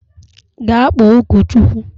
Gaa kpọọ ụkọchukwu!